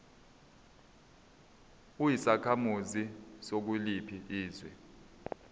uyisakhamuzi sakuliphi izwe